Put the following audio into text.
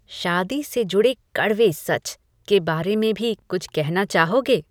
"शादी से जुड़े कड़वे सच" के बारे में भी कुछ कहना चाहोगे?